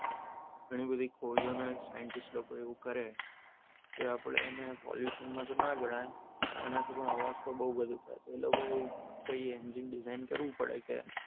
ઘણી બધી ખોજો ને સાયન્ટિસ્ટ લોકો એવું બધું કરે તો આપણે એને પોલ્યુશનમાં તો ન ગણાય પણ એનાથી અવાજ બહુ બધું થાય તો એ લોકો એવું એન્જિન ડિઝાઇન કરવો પડે કે.